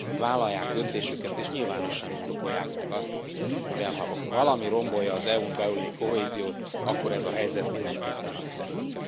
vállalják döntésüket és nyilvánosan indokolják meg azt, mivel ha valami rombolja az EU n belüli kohéziót, akkor ez a helyzet mindenképpen azt teszi.